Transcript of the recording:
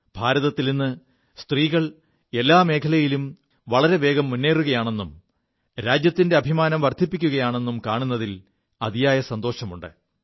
ഭാരതത്തിൽ ഇ് സ്ത്രീകൾ എല്ലാ മേഖലകളിലും വളരെ വേഗം മുേറുകയാണെും രാജ്യത്തിന്റെ അഭിമാനം വർധിപ്പിക്കുകയാണെും കാണുതിൽ അതിയായ സന്തോഷമുണ്ട്